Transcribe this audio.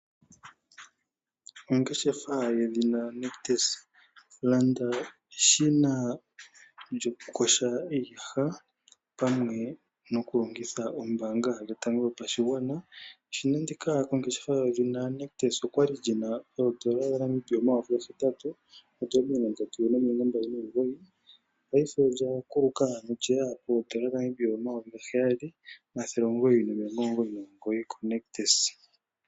Landa eshina lyo kuyoga iiyaha kositola yoNictus pamwe nombaanga yotango yopashigwana. Eshina ndika olyali lyina oondola dhaNamibia omayovi 8 329 paife olya kuluka 7 999 konictus.